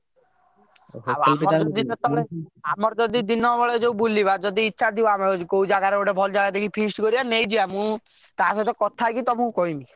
Book ହେଇଛି ଆମର ଯଦି ଦିନ ବେଳେ ଯଉ ବୁଲିବା ଯଦି ଇଛା ଥିବ ଆମର କଉ ଜାଗାରେ ଗୋଟେ ଭଲ ଜାଗା ଦେଖି feast କରିବା ଦେଖିଆ ନେଇଯିବା ମୁଁ ତା ସହ କଥା ହେଇକି ତମକୁ କହିବି।